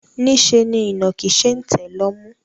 Niṣẹ́ ni ìnàkí ṣe ń tẹ̀ lọ́mú.